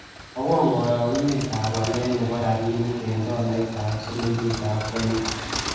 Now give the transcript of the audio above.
Mwawon karogunetap walet ne po rabinik eng' tolait ak silingitap kenya